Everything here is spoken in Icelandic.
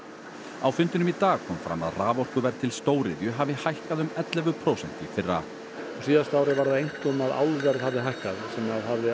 á fundinum í dag kom fram að raforkuverð til stóriðju hafi hækkað um ellefu prósent í fyrra á síðasta ári var það einkum að álverð hafði hækkað sem hafði